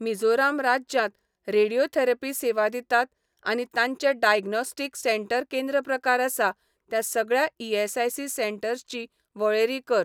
मिझोराम राज्यांत रेडियोथेरपी सेवा दितात आनी तांचें डाग्नोस्टीक सेंटर केंद्र प्रकार आसा त्या सगळ्या ईएसआयसी सेंटर्स ची वळेरी कर.